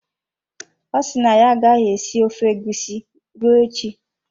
Ọ si na ya agaghị esi ofe egusi ruo echi.